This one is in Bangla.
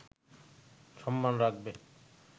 সম্মান রাখবে